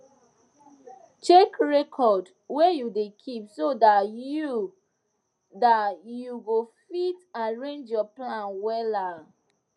check record wey you da keep so dat you dat you go fit arrange your plan wella